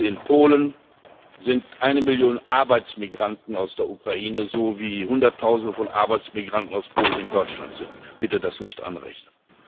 In Polen sind eine Million Arbeitsmigranten aus der Ukraine, so wie Hunderttausende von Arbeitsmigranten aus Polen in Deutschland sind bitte das nicht anrechnen.